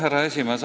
Härra esimees!